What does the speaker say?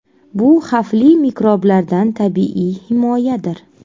Bu xavfli mikroblardan tabiiy himoyadir.